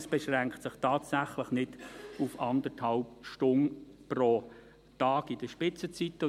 Es beschränkt sich also tatsächlich nicht auf eineinhalb Stunden pro Tag in den Spitzenzeiten.